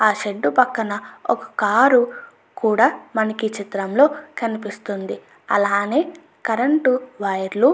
ఆ షెడ్డు పక్కన ఒక కారు కూడా మనకి ఈ చిత్రంలో కనిపిస్తుంది అలానే కరెంటు వైర్ లు --